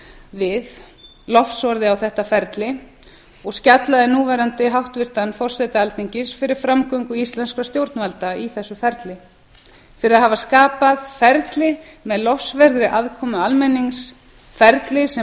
við lofsorði á þetta ferli og skjallaði núverandi háttvirtan forseta alþingis fyrir framgöngu íslenskra stjórnvalda í þessu ferli fyrir að hafa skapað ferli með lofsverðri aðkomu almennings ferli sem